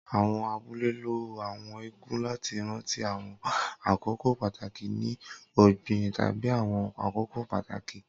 Awọn abule lo Àwọn eégún lati ranti awọn akoko pataki ni ogbin tabi awọn akoko pataki.